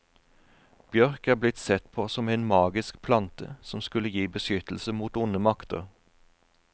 Bjørk er blitt sett på som en magisk plante, som skulle gi beskyttelse mot onde makter.